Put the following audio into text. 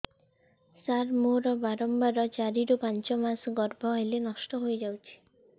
ସାର ମୋର ବାରମ୍ବାର ଚାରି ରୁ ପାଞ୍ଚ ମାସ ଗର୍ଭ ହେଲେ ନଷ୍ଟ ହଇଯାଉଛି